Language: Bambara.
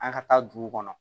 An ka taa duguw kɔnɔ